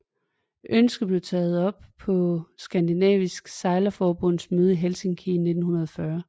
Ønsket blev taget op på Skandinavisk Sejlerforbunds møde i Helsinki i 1940